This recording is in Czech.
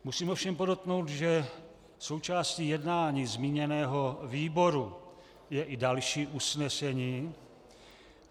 Musím ovšem podotknout, že součástí jednání zmíněného výboru je i další usnesení.